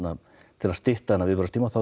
til að stytta þennan viðbragðstíma